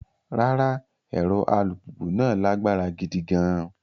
Rárá, ẹ̀rọ alùpùpù náà lágbára gidi gan-an.